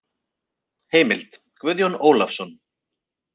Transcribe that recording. Heimild: Guðjón Ólafsson.